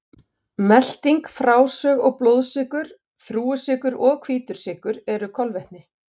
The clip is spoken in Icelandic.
Melting, frásog og blóðsykur Þrúgusykur og hvítur sykur eru kolvetni.